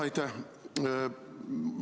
Aitäh!